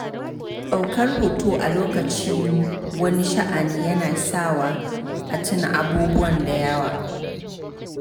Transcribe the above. Daukar hoto a lokacin wani sha'ani yana sawa a tuna abubuwa da yawa.